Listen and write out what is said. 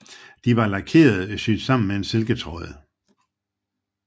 De var lakerede og syet sammen med silketråd